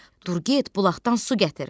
Dur get bulaqdan su gətir.